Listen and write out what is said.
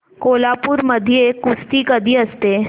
कोल्हापूर मध्ये कुस्ती कधी असते